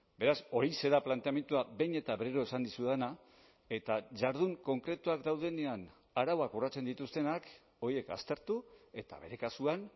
beraz horixe da planteamendua behin eta berriro esan dizudana eta jardun konkretuak daudenean arauak urratzen dituztenak horiek aztertu eta bere kasuan